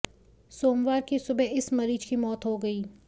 सोमवार की सुबह इस मरीज की मौत हो गई